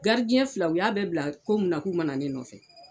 fila u y'a bɛɛ bila ko munna k'u mana ne nɔfɛ.